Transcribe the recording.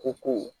Ko ko